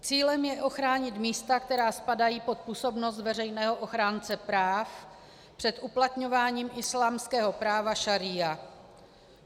Cílem je ochránit místa, která spadají pod působnost veřejného ochránce práv, před uplatňováním islámského práva šaría.